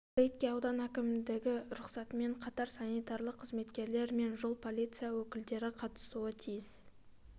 рейдке аудан әкімдігі рұқсатынмен қатар санитарлық қызметкерлер мен жол полицясы өкілдері қатысуы тиіс